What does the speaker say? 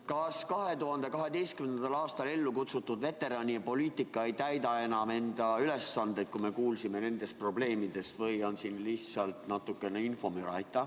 Kas 2012. aastal ellu kutsutud veteranipoliitika ei täida enam oma ülesandeid, kui me kuulsime nendest probleemidest, või on siin lihtsalt natukene infomüra?